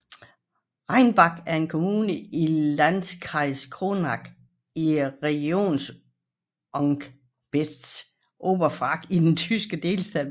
Reichenbach er en kommune i Landkreis Kronach i Regierungsbezirk Oberfranken i den tyske delstat Bayern